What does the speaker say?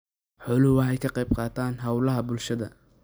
Xooluhu waxay ka qayb qaataan hawlaha bulshada.